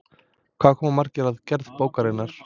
Hvað koma margir að gerð bókarinnar?